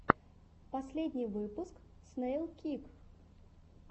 последний выпуск снэйлкик